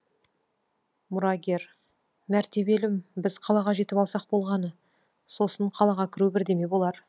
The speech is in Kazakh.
мұрагер мәртебелім біз қалаға жетіп алсақ болғаны сосын қалаға кіру бірдеме болар